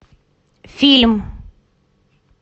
фильм